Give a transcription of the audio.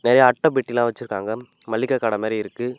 நெறையா அட்ட பெட்டிலா வச்சிருக்காங்க மல்லிக கட மாரிருக்கு.